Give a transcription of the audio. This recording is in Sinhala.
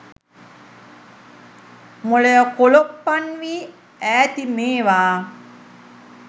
මොලය කොලොප්පන් වී ඈති මේවා